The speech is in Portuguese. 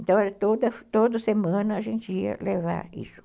Então era toda toda semana a gente ia levar isso.